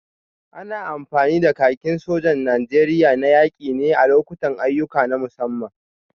Ana amfani da kakin sojan Najeriya na yaki ne a lokutan ayyuka na musamman.